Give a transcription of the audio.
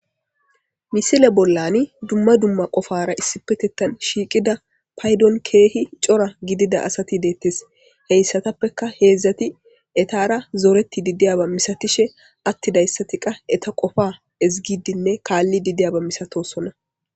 misile bollani dumma dumma qofara issipetetan shiiqida paydon keehi cora gidida asati deettes heyssatappeka heedzdzati etara zooreti didiyaba misatishe attidayssati qa eta qofa ezigidinne kaalli didiyaba misatosonna